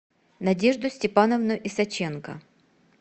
надежду степановну исаченко